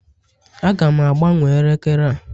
Aga m agbanwe elekere a